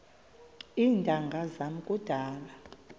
iintanga zam kudala